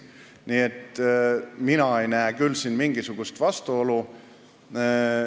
Nii et mina ei näe siin küll mingisugust vastuolu.